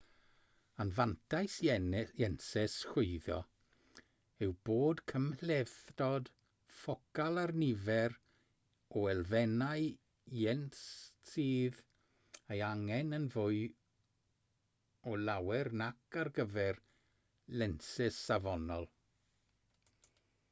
anfantais lensys chwyddo yw bod cymhlethdod ffocal a'r nifer o elfennau lens sydd eu hangen yn fwy o lawer nac ar gyfer lensys safonol